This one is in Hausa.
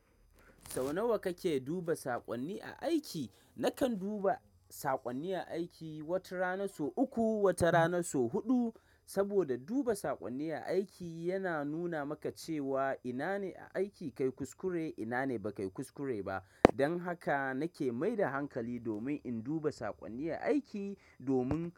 Sau nawa kake duba saƙonni a aiki? Nakan duba saƙonni a aiki, wata rana so uku, wata rana so huɗu. Saboda duba saƙonni a aiki yana nuna maka cewa ina ne a aiki kayi kuskure, ina ne ba kayi kuskure ba. Dan haka nake mai da hankali domin in duba saƙonni a aiki domin.